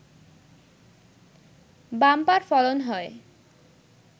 bumper ফলন হয়